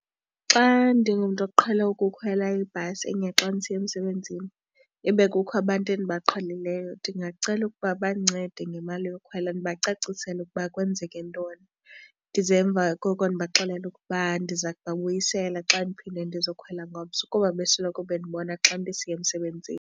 Xa ndingumntu oqhele ukukhwela ibhasi enye xa ndisiya emsebenzini ibe kukho abantu endibaqheleleyo ndingacela ukuba bandincede ngemali yokhwela ndibacacisele ukuba kwenzeke ntoni. Ndize emva koko ndibaxelele ukuba ndiza kubuyisela xa ndiphinda ndizokhwela ngomso kuba besoloko bendibona xa ndisiya emsebenzini.